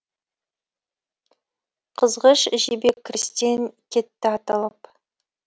қызғыш жебе кірістен кетті атылып